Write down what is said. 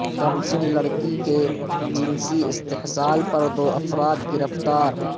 کمسن لڑکی کے جنسی استحصال پر دو افراد گرفتار